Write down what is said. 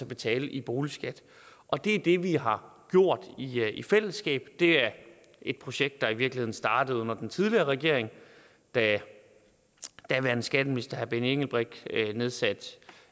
betale i boligskat og det er det vi har gjort i fællesskab det er et projekt der i virkeligheden startede under den tidligere regering da daværende skatteminister herre benny engelbrecht nedsatte